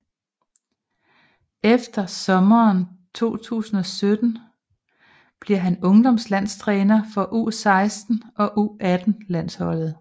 Efter sommeren 2017 bliver han ungdomslandstræner for u16 og u18 landsholdet